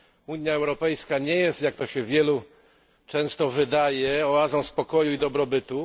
Unia Europejska nie jest, jak to się wielu często wydaje, oazą spokoju i dobrobytu.